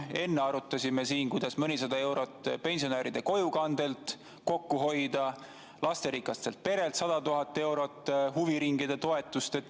Enne arutasime siin, kuidas pensionide kojukandelt mõnisada eurot kokku hoida, lasterikaste perede huviringide toetuselt 100 000 eurot.